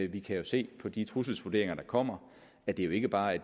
vi kan jo se på de trusselsvurderinger der kommer at det jo ikke bare er